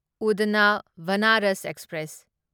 Udhna Banaras express